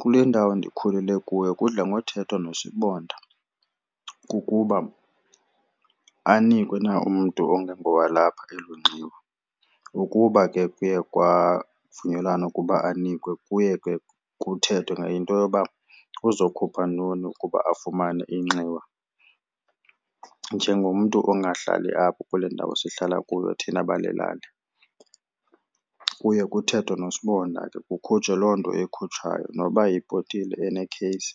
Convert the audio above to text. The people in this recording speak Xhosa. Kule ndawo ndikhulele kuyo kudla ngothethwa nosibonda kukuba anikwe na umntu ongengowalapha elo nxiwa. Ukuba ke kuye kwavunyelwana ukuba anikwe kuye ke kuthethwe ngento yoba uzokhupha ntoni ukuba afumane inxiwa njengomntu ongahlalli apha kule ndawo sihlala kuyo thina bale lali. Kuye kuthethwe nosibonda ke kukhutshwe loo nto ikhutshwayo noba yibhotile enekheyisi